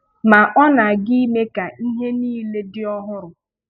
Ma ọ na-aga ime ka ihe niile dị ọhụrụ.